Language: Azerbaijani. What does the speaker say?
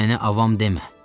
Mənə avam demə!